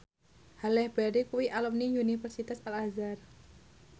Halle Berry kuwi alumni Universitas Al Azhar